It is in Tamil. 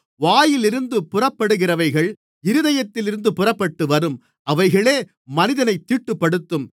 வாயிலிருந்து புறப்படுகிறவைகள் இருதயத்திலிருந்து புறப்பட்டுவரும் அவைகளே மனிதனைத் தீட்டுப்படுத்தும்